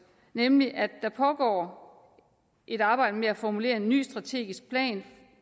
nemlig at der pågår et arbejde med at formulere en ny strategisk plan